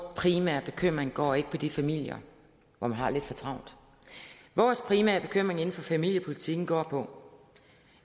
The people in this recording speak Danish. primære bekymring går ikke på de familier hvor man har lidt for travlt vores primære bekymring inden for familiepolitikken går på